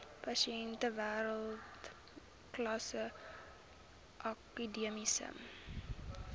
pasiënte wêreldklas akademiese